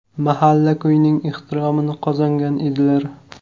Mahalla-ko‘yning ehtiromini qozongan edilar.